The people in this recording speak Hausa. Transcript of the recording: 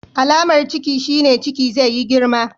Alamar Ciki shine Ciki zai yi girma.